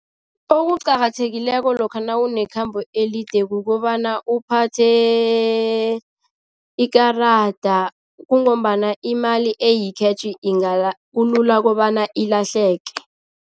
Okuqakathekileko lokha nawunekhambo elide kukobana uphathe ikarada, kungombana imali eyi-cash kulula kobana ilahleke.